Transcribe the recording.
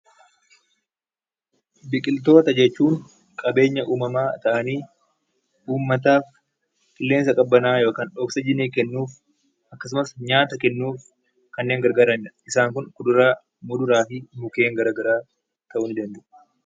Biqiltoota jechuun qabeenya uumamaa ta'anii, uummataaf qilleensa qabbanaa'aa yookiin oksijinii kennuuf akkasumas nyaata kennuuf kanneen gargaaranidha. Isaan kuduraa, muduraa fi mukkeen gara garaa ta'uu ni danda'a.